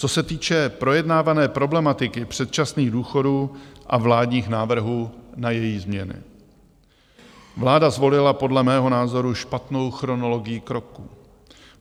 Co se týče projednávané problematiky předčasných důchodů a vládních návrhů na její změny, vláda zvolila podle mého názoru špatnou chronologií kroků.